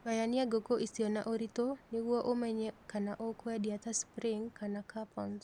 Gayania ngũkũ icio na ũritũ nĩguo ũmenye kana ũkwendia ta spring kana capons